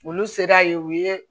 Olu sera yen u ye